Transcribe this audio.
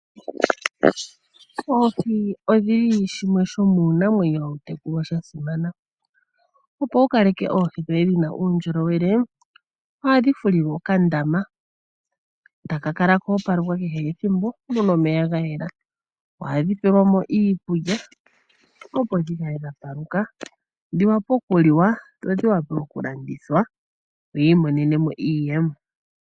Oohi odhili shimwe shomiinamwenyo hadhi tekelwa sha simana. Opo wu kaleke oohi dhoye dhina uundjolowele ohadhi fulilwa okandama taka kala koopalekwa kehe ethimbo muna omeya ga yela. Ohadhi pelwa mo iikulya opo dhikale dha paluka dhi vule okuliwa dho dhi vule okulandithwa yi imonene mo iiyemo.